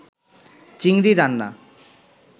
চিংড়ি রান্না